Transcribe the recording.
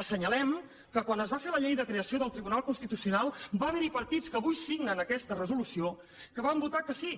assenyalem que quan es va fer la llei de creació del tribunal constitucional va haver hi partits que avui signen aquesta resolució que van votar que sí